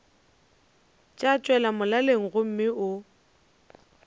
tša tšwela molaleng gomme o